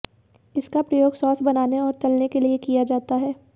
इसका प्रयोग सॉस बनाने और तलने के लिए किया जाता है